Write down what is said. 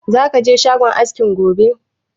Za ka je shagon askin gobe?